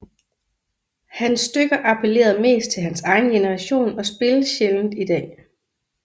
Hans stykker applerede mest til hans egen generation og spilles sjældent i dag